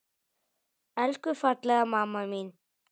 Elsku fallega mamma mín!